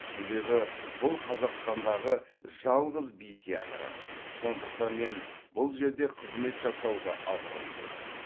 себебі бұл қазақстандағы жалғыз би театры сондықтан мен бұл жерде қызмет жасауды абырой көрдім